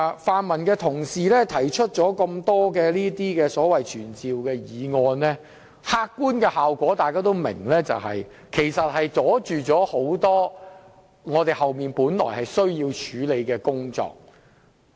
泛民同事提出多項傳召官員的議案，其實大家也明白其客觀效果是要阻礙後面多項本來需要處理的工作。